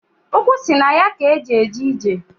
Ukwu si na ya k'e ji eje ije.